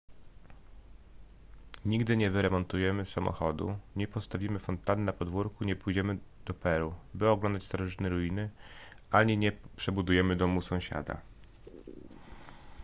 nigdy nie wyremontujemy samochodu nie postawimy fontanny na podwórku nie pojedziemy do peru by oglądać starożytne ruiny ani nie przebudujemy domu sąsiada